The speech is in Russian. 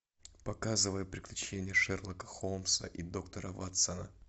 показывай приключения шерлока холмса и доктора ватсона